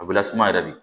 A bɛ lasuma yɛrɛ de